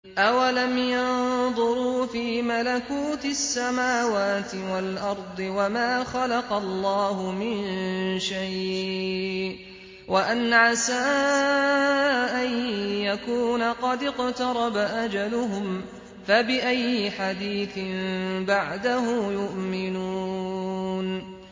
أَوَلَمْ يَنظُرُوا فِي مَلَكُوتِ السَّمَاوَاتِ وَالْأَرْضِ وَمَا خَلَقَ اللَّهُ مِن شَيْءٍ وَأَنْ عَسَىٰ أَن يَكُونَ قَدِ اقْتَرَبَ أَجَلُهُمْ ۖ فَبِأَيِّ حَدِيثٍ بَعْدَهُ يُؤْمِنُونَ